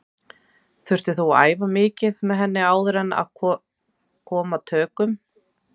Þurftir þú að æfa mikið með henni áður en kom að tökum?